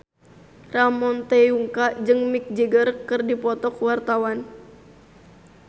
Ramon T. Yungka jeung Mick Jagger keur dipoto ku wartawan